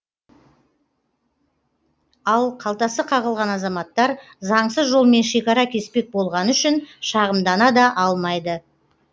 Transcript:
ал қалтасы қағылған азаматтар заңсыз жолмен шекара кеспек болғаны үшін шағымдана да алмайды